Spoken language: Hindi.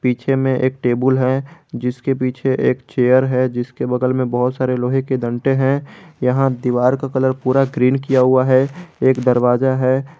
पीछे में एक टेबुल है जिसके पीछे एक चेयर है जिसके बगल में बहुत सारे लोहे के डंडे हैं यहां दीवार का कलर पूरा ग्रीन किया हुआ है एक दरवाजा है।